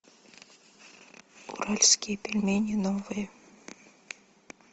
уральские пельмени новые